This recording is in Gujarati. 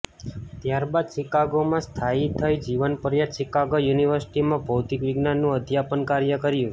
ત્યારબાદ શિકાગોમાં સ્થાયી થઈ જીવન પર્યત શિકાગો યુનિવર્સિટીમાં ભૌતિકવિજ્ઞાનનું અધ્યાપન કાર્ય કર્યું